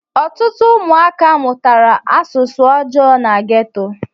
Ọtụtụ ụmụaka mụtara asụsụ ọjọọ na ghetto